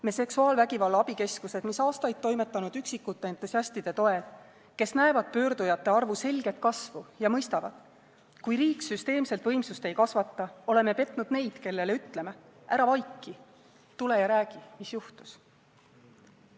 Me seksuaalvägivalla abikeskused, mis on aastaid toimetanud üksikute entusiastide toel, kes näevad pöördujate arvu selget kasvu ja mõistavad, et kui riik süsteemselt võimsust ei kasvata, oleme petnud neid, kellele ütleme: ära vaiki, tule ja räägi, mis juhtus!